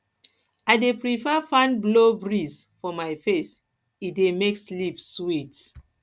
i dey prefer fan blow breeze for my face e dey make sleep sweet